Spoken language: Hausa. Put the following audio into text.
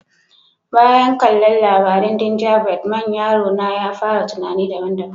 Bayan kalla labarin ginjabread man, yaro na ya fara tunanni daban-daban.